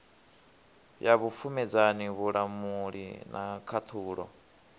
ya vhupfumedzani vhulamuli na khaṱhulo